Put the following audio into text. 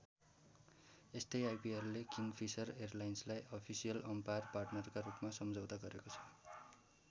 यस्तै आईपीएलले Kingfisher एयरलाइन्सलाई अफिसियल अम्पायर पार्टनरका रूपमा सम्झौता गरेको छ।